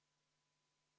V a h e a e g